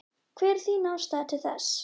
Hver er þín afstaða til þess?